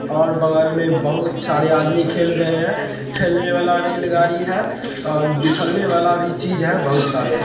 ओर बगल मे बहुत सारे आदमी खेल रहे है | खेलने वाला रेल गाड़ी है और वाला भी चीज है बहुत सारे हैं ।